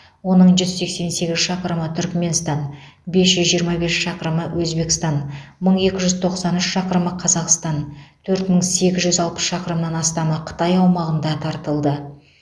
оның жүз сексен сегіз шақырымы түрікменстан бес жүз жиырма бес шақырымы өзбекстан мың екі жүз тоқсан үш шақырымы қазақстан төрт мың сегіз жүз алпыс шақырымнан астамы қытай аумағында тартылды